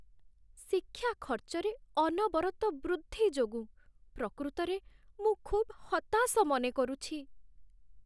ଶିକ୍ଷା ଖର୍ଚ୍ଚରେ ଅନବରତ ବୃଦ୍ଧି ଯୋଗୁଁ ପ୍ରକୃତରେ ମୁଁ ଖୁବ୍ ହତାଶ ମନେକରୁଛି।